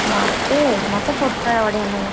ମତେ, ମତେ ପୋଟଳ ବଢିଆ ଲାଗେ।